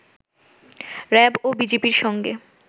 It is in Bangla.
র‌্যাব ও বিজিবির সঙ্গে